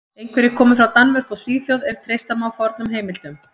Einhverjir komu frá Danmörku og Svíþjóð ef treysta má fornum heimildum.